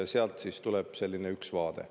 Sealt tuleb üks vaade.